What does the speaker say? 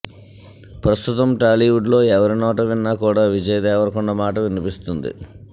ప్రస్తుతం టాలీవుడ్లో ఎవరి నోట విన్నా కూడా విజయ్ దేవరకొండ మాట వినిపిస్తుంది